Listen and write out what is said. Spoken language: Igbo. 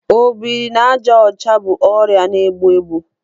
Obiri n'aja ọcha bụ ọrịa na-egbu egbu.